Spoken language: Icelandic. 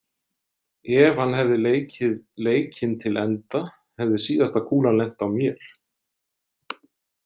Ef hann hefði leikið leikinn til enda hefði síðasta kúlan lent á mér.